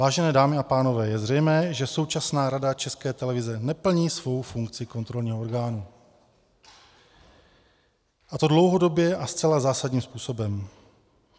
Vážené dámy a pánové, je zřejmé, že současná Rada České televize neplní svou funkci kontrolního orgánu, a to dlouhodobě a zcela zásadním způsobem.